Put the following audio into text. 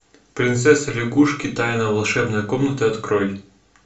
принцесса лягушка тайна волшебной комнаты открой